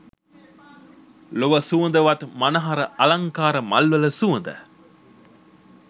ලොව සුවඳවත් මනහර අලංකාර මල්වල සුවඳ